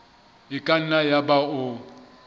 e ka nna yaba o